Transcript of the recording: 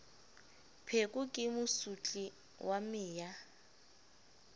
pheko ke mosotli wa meya